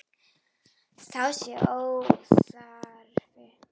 Það sé óþarfi.